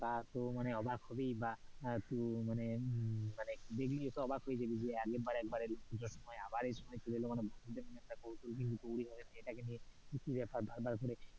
তা তো মানে অবাক ছবিই বা তুই মনে দেখে তো অবাক হয়ে জাবি যে আগের বার আগের বার একবার পুজোর সময় আবার এই সময় চলে এলো মানে একটা কৌতহল কিন্তু তৈরী হয় সেটাকে নিয়ে, কি বেপার বার বার করে,